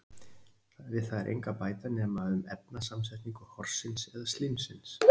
við það er engu að bæta nema um efnasamsetningu horsins eða slímsins